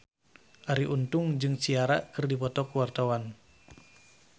Arie Untung jeung Ciara keur dipoto ku wartawan